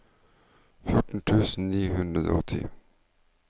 fjorten tusen ni hundre og ti